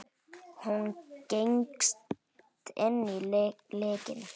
Hún gengst inn á lygina.